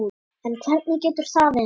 En hvernig getur það verið?